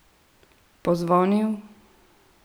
Pozvonil?